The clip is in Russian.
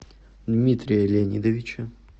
дмитрия леонидовича